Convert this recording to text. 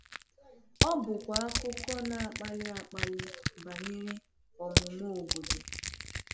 Ọ bụkwa akụkọ na-akpali akpali banyere ọmụmụ obodo.